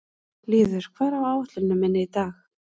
Lýður, hvað er á áætluninni minni í dag?